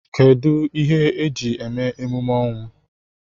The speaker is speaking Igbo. Kedụ ihe eji eme emume ọnwụ?